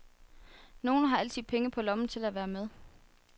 Nogle har altid penge på lommen til at være med.